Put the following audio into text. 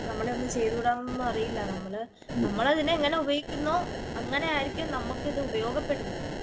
നമ്മള് തമ്മിൽ ചേരൂല എന്നൊന്നും അറിയില്ല. നമ്മള് നമ്മള് അതിനെ എങ്ങനെ ഉപയോഗിക്കുന്നു അൻഗെനേ ആയിരിക്കും നമ്മൾക്ക് ഇതിനെ ഉപയോഗപ്പെടുന്നത്.